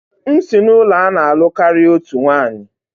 M si n'ụlọ a na-alụ karịa otu nwanyị